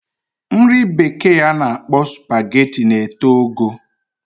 Nri bekee ana akpo spaghetti na eto ogo